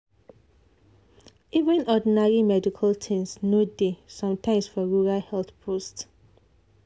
even ordinary medical things no dey sometimes for rural health post.